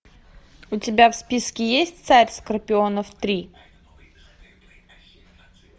у тебя в списке есть царь скорпионов три